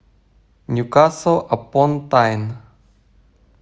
ньюкасл апон тайн